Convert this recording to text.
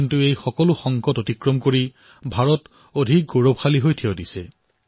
কিন্তু এই সংকটসমূহক ভাৰতে হেলাৰঙে পৰাস্ত কৰিব পাৰিছিল